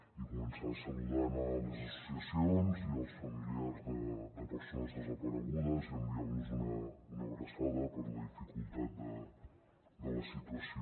i començar saludant les associacions i els familiars de persones desaparegudes i enviant los una abraçada per la dificultat de la situació